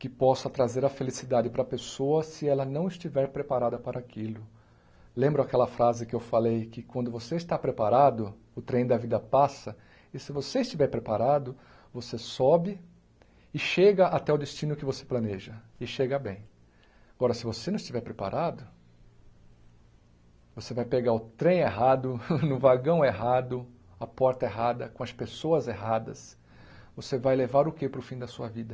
que possa trazer a felicidade para a pessoa se ela não estiver preparada para aquilo lembra aquela frase que eu falei que quando você está preparado o trem da vida passa e se você estiver preparado você sobe e chega até o destino que você planeja e chega bem agora se você não estiver preparado você vai pegar o trem errado no vagão errado a porta errada com as pessoas erradas você vai levar o que para o fim da sua vida